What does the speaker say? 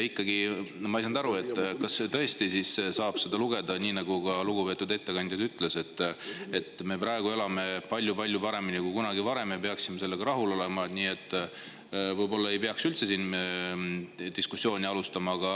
Ikkagi ei saanud ma aru, kas tõesti saab lugeda seda, nagu lugupeetud ettekandja ütles, et me praegu elame palju-palju paremini kui kunagi varem ja me peaksime sellega rahul olema, nii et võib-olla ei peaks üldse siin diskussiooni alustama.